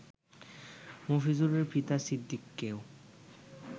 মফিজুলের পিতা সিদ্দিককেও